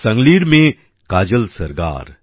সাংলির মেয়ে কাজল সরগার